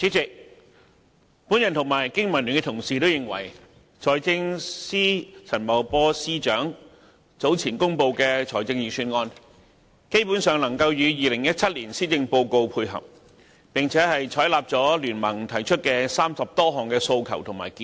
主席，我及香港經濟民生聯盟的同事，也認為財政司司長陳茂波早前公布的財政預算案，基本上能與2017年施政報告配合，並採納了經民聯提出的30多項訴求與建議。